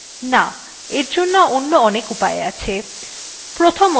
no এর জন্য অন্য অনেক উপায় আছে